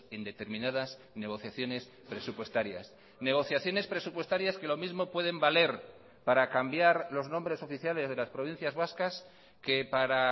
en determinadas negociaciones presupuestarias negociaciones presupuestarias que lo mismo pueden valer para cambiar los nombres oficiales de las provincias vascas que para